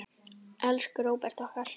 Elsku Róbert okkar.